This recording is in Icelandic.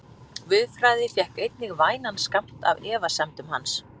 Guðfræði fékk einnig vænan skammt af efasemdum hans.